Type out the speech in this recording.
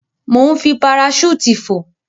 Mò ń fi paraṣúùtì fò.